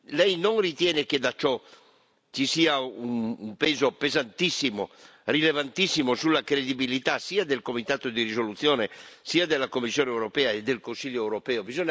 Lei non ritiene che da ciò ci sia un peso pesantissimo, rilevantissimo, sulla credibilità, sia del comitato di risoluzione sia della Commissione europea e del Consiglio europeo?